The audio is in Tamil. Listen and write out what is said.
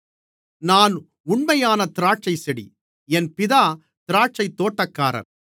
நான் உண்மையான திராட்சைச்செடி என் பிதா திராட்சைத்தோட்டக்காரர்